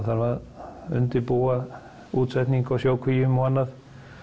þarf að undirbúa útsetningu á sjókvíum og annað